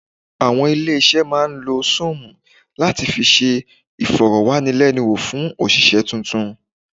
Àwọn ilé-iṣẹ́ máa ń lo Súùmù láti fi ṣe ìfọ̀rọ̀wánilẹ́nuwò fún òṣìṣẹ́ tuntun.